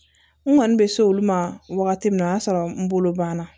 N kɔni bɛ se olu ma wagati min na o y'a sɔrɔ n bolo banna